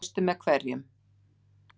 Og veistu með hverjum?